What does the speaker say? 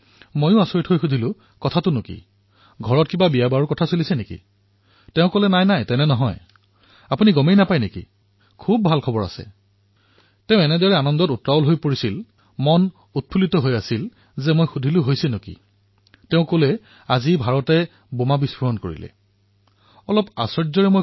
মইও আচৰিত হলো সুধিলো ঘৰত বিয়াবাৰুৰ কথা চলিছে নেকি তেওঁ কলে আৰে নহয় নহয় ককাই আপুনি গম নাপায় নেকি তেওঁ ইমান হৰ্ষোল্লসিত হৈ আছিল উত্তেজিত হৈ আছিল মই সুধিলো কি হল তেওঁ কলে আজি ভাৰতে বোমা ফুটুৱালে